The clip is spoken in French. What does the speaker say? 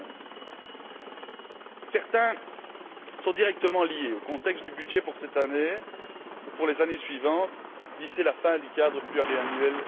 2011. Certains sont directement liés au contexte du budget pour cette année ou pour les années suivantes, d'ici la fin du cadre pluriannuel